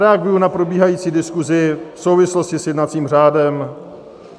Reaguji na probíhající diskusi v souvislosti s jednacím řádem.